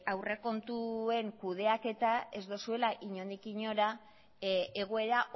aurrekontuen kudeaketa ez dozuela inondik inora egoera